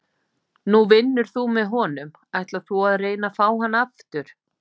Nú vinnur þú með honum, ætlar þú að reyna að fá hann aftur?